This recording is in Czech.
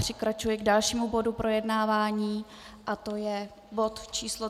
Přikračuji k dalšímu bodu projednávání a to je bod číslo